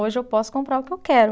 Hoje eu posso comprar o que eu quero.